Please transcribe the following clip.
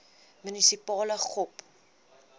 munisipale gop